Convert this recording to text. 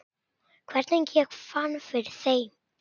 Hvernig ég fann fyrir þeim?